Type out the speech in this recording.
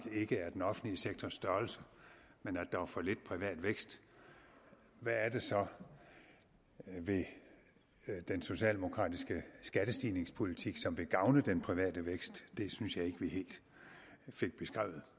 ikke er den offentlige sektors størrelse men at der er for lidt privat vækst hvad det så er ved den socialdemokratiske skattestigningspolitik som vil gavne den private vækst det synes jeg ikke vi helt fik beskrevet